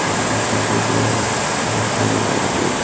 சைடுல கபோட்ல நறைய சாரி எல்லாம் இருக்கு.